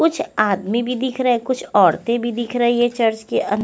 कुछ आदमी भी दिखरे कुछ औरते भी दिखरी है चर्च के अन--